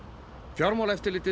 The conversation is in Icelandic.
fjármálaeftirlitið